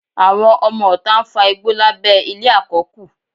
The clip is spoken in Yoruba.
Àwọn ọmọọta ń fa igbó lábẹ́ ilé àkọ́kù